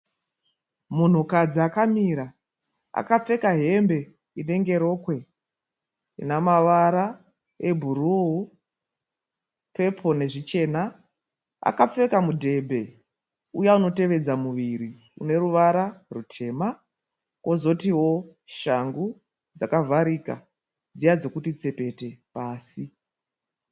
Munhukadzi akamira akapfeka hembe inenge rokwe. Inamavara e bhuruu, pepuru nezvichena. Akapfeka mudhebhe uya unotevedza muviri uneruvara rutema. Kozotiwo shangu dzakavharika dziya dzekuti tsepete pasi.